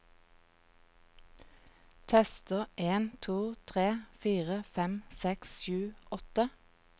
Tester en to tre fire fem seks sju åtte